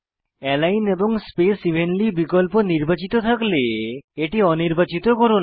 align এবং space evenly বিকল্প নির্বাচিত থাকলে এটি অনির্বাচিত করুন